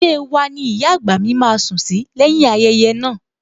Ilée wa ni ìyá àgbà mi máa sùn sí lẹ́yìn-ín ayẹyẹ naa